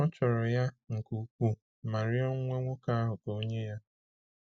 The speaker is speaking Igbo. Ọ chọrọ ya nke ukwuu ma rịọ nwa nwoke ahụ ka o nye ya.